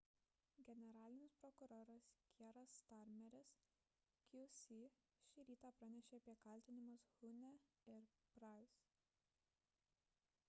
generalinis prokuroras kieras starmeris qc šį rytą pranešė apie kaltinimus huhne ir pryce